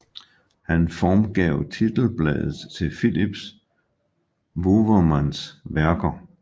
Han formgav titelbladet til Philips Wouwermans værker